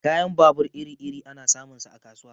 Kayan babur iri-iri ana samun sa a kasuwa.